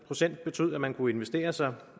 procent betød at man kunne investere sig